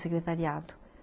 Secretariado